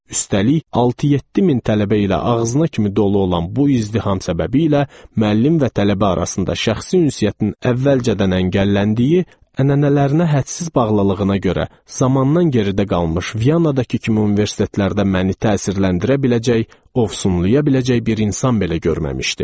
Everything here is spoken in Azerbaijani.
Üstəlik, 6-7 min tələbə ilə ağzına kimi dolu olan bu izdiham səbəbiylə müəllim və tələbə arasında şəxsi ünsiyyətin əvvəlcədən əngəlləndiyi, ənənələrinə hədsiz bağlılığına görə zamandan geridə qalmış Vyanadakı kimi universitetlərdə məni təsirləndirə biləcək, ovsunlaya biləcək bir insan belə görməmişdim.